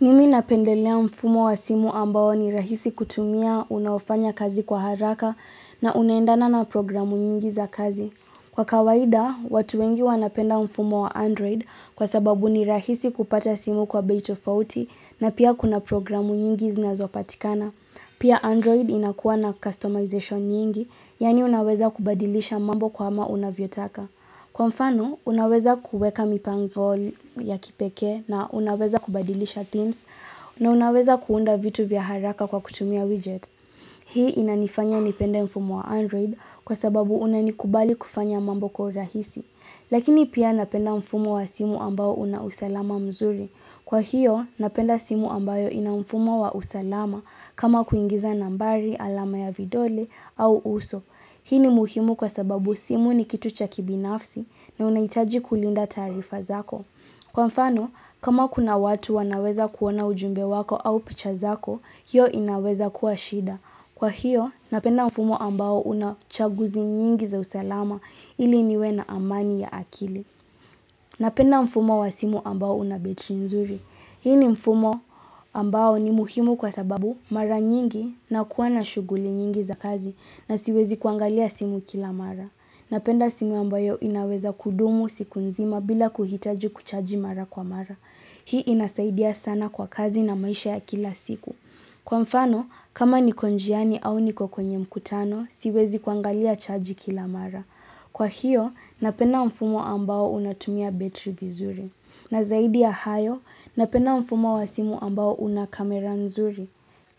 Mimi napendelea mfumo wa simu ambao ni rahisi kutumia unaofanya kazi kwa haraka na unaendana na programu nyingi za kazi. Kwa kawaida, watu wengi wanapenda mfumo wa Android kwa sababu ni rahisi kupata simu kwa bei tofauti na pia kuna programu nyingi zinazopatikana. Pia Android inakuwa na customization nyingi, yani unaweza kubadilisha mambo kwa ama unavyotaka. Kwa mfano, unaweza kuweka mipangol ya kipeke na unaweza kubadilisha themes na unaweza kuunda vitu vya haraka kwa kutumia widget. Hii inanifanya nipende mfumo wa Android kwa sababu unanikubali kufanya mambo kwa urahisi. Lakini pia napenda mfumo wa simu ambao una usalama mzuri. Kwa hiyo, napenda simu ambayo ina mfumo wa usalama kama kuingiza nambari, alama ya vidole au uso. Hii ni muhimu kwa sababu simu ni kitu cha kibinafsi na unaitaji kulinda tarifa zako. Kwa mfano, kama kuna watu wanaweza kuona ujumbe wako au picha zako, hiyo inaweza kuwa shida. Kwa hiyo, napenda mfumo ambao unachaguzi nyingi za usalama ili niwe na amani ya akili. Napenda mfumo wa simu ambao una betri nzuri. Hii ni mfumo ambao ni muhimu kwa sababu mara nyingi nakuwa na shuguli nyingi za kazi na siwezi kuangalia simu kila mara. Napenda simu ambayo inaweza kudumu siku nzima bila kuhitaji kuchaji mara kwa mara. Hii inasaidia sana kwa kazi na maisha ya kila siku. Kwa mfano, kama niko njiani au niko kwenye mkutano, siwezi kuangalia chaji kila mara. Kwa hiyo, napenda mfumo ambao unatumia betri vizuri. Na zaidi ya hayo, napenda mfumo wa simu ambao una kamera nzuri.